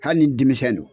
Hali ni denmisɛnw